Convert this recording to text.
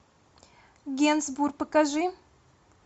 генсбур покажи